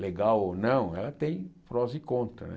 legal ou não, ela tem prós e contras.